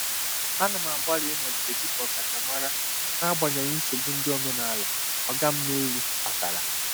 Ana m agbalị ịnọgide dị ka ọkachamara n'agbanyeghị nsogbu ndị omenala “oga m n'elu” kpatara.